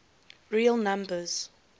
real numbers